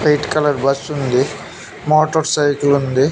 White colour bus ఉంది motorcycle ఉంది.